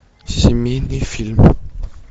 семейный фильм